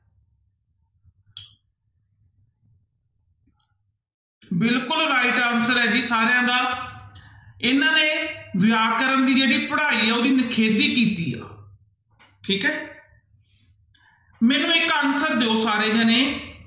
ਬਿਲਕੁਲ right answer ਹੈ ਜੀ ਸਾਰਿਆਂ ਦਾ ਇਹਨਾਂ ਨੇ ਵਿਆਕਰਨ ਦੀ ਜਿਹੜੀ ਪੜ੍ਹਾਈ ਹੈ ਉਹਦੀ ਨਿਖੇਧੀ ਕੀਤੀ ਆ ਠੀਕ ਹੈ ਮੈਨੂੰ ਇੱਕ answer ਦਿਓ ਸਾਰੇ ਜਾਣੇ।